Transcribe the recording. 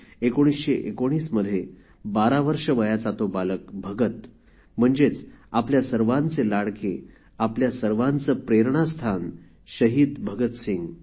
१९१९ मध्ये १२ वर्षे वयाचा तो बालक भगत म्हणजेच आपल्या सर्वांचे लाडके आपल्या सर्वांचं प्रेरणास्थान शहीद भगतसिंग